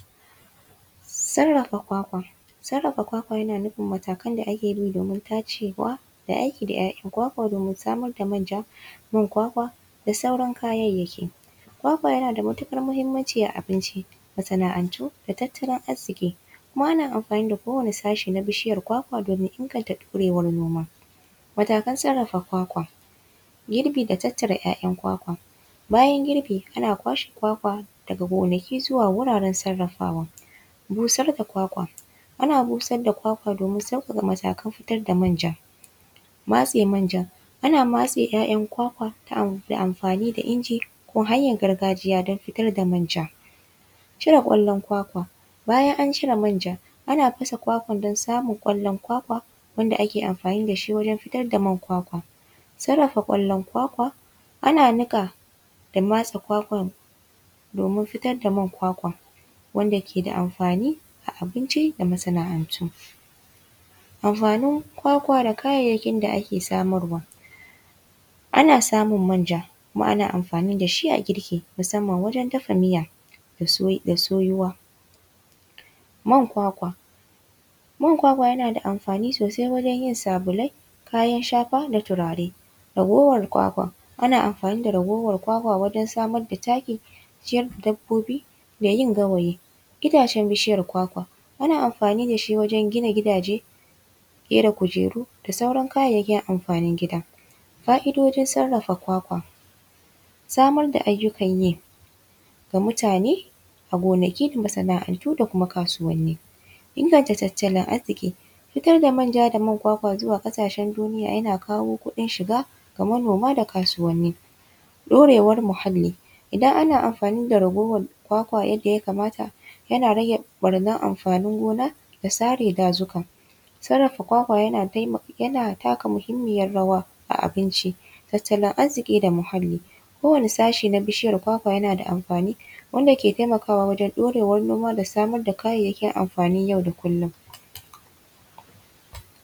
Sarrafa kwakwa. Sarrafa kwakwa yana nufin matakan da ake bi domin tacewa da aiki da ‘ya’yan kwakwa domin samar da manja, man kwakwa da sauran kayayyaki. Kwakwa yana da matuƙar muhimmanci a abinci, masana’antu da tattalin arziƙi. Kuma ana amfani da kowane sashe na bishiyar kwakwa domin inganta ɗorewar noma. Matakan sarrafa kwakwa: girbi da tattara ‘ya’yan kwakwa, bayan girbi, ana kwakwa daga gonaki zuwa wuraren sarrafawa. Busar da kwakwa, ana busar da kwakwa domin sauƙaƙa matakan fitar da manja. Matse manja, ana matse ‘ya’yan kwakwa ta hanyar amfani da inji ko hanyar gargajiya don fitar da manja. Cire ƙwallon kwakwa, bayan an cire manja, ana fasa kwakwan don samun ƙwallon kwakwa wanda ake amfani da shi wajen fitar da man kwakwa. Sarrafa ƙwallon kwakwa, ana niƙa da matse kwakwa domin fitar da man kwakwa wanda ke da amfani ga abinci da masana’antu. Amfanin kwakwa da kayayyakin da ake samarwa: ana samun manja kuma ana amfani da shi a girki, musamman a wajen dafa miya da soyuwa. Man kwakwa: man kwakwa yana da amfani sosai wajen yin sabulai, kayan shafa na turare. Ragowar kwakwa, ana amfani da ragowar kwakwa wajen samar da taki, ciyar da dabbobi da yin gawayi. Itacen bishiyar kwakwa: ana amfani da shi wajen gina gidaje, ƙera kujeru da sauran kayayyakin amfanin gida. Fa’idojin sarrafa kwakwa: samar da ayukan yi ga mutane a gonaki da masana’antu da kuma kasuwanni. Inganta tattalin arziƙi: fitar da manja da man kwakwa zuwa ƙasashen duniya yana kawo kuɗin shiga ga manoma da kasuwanni. Ɗorewar muhalli: idan ana amfani da ragowar kwakwa yadda ya kamata, yana rage ɓarnar amfanin gona da sare dazuka. Sarrafa kwakwa yana taka muhimmiyar rawa a abinci, tattalin arziƙi da muhalli. Kowane sashe na bishiyar kwakwa yana da amfani wanda ke taimakawa wajen ɗorewar noma da samar da kayayyakin amfanin yau da kullum.